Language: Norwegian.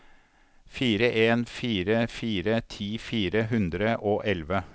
fire en fire fire ti fire hundre og elleve